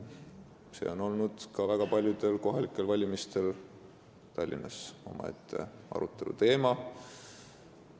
See on olnud Tallinnas ka väga paljudel kohalikel valimistel omaette aruteluteema.